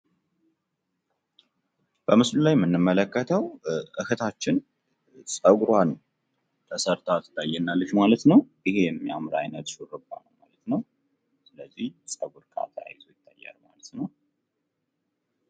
በምስሉ የምንመለከተው እህታችን ጸጉሯን ተሰርታ ትታየናለች ማለት ነው። ይሄ የሚያምር አይነት ሹርባ ነው።